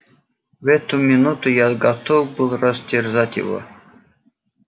в эту минуту я готов был растерзать его